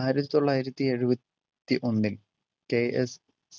ആയിരത്തി തൊള്ളായിരത്തി എഴുപത്തി ഒന്നിൽ KS